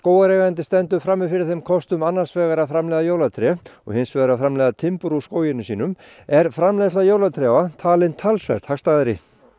skógareigandi stendur frammi fyrir þeim kostum annars vegar að framleiða jólatré og hins vegar að framleiða timbur úr skóginum sínum er framleiðsla jólatrjáa talin talsvert hagstæðari